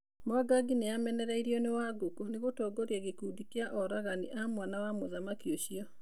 Mwangangi nĩamenereirio nĩ Wangũkũnĩ gũtongorĩa gĩkundĩ kĩa oragani a mwana wa mũthamaki ũcio